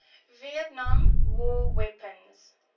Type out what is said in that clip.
vietnam war weapons